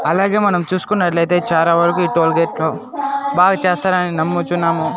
అలాగే మనం చూసుకున్నట్లైతే చారా వరకు ఈ టోల్గేట్ లో బాగా చేస్తారని నమ్ముచున్నాము.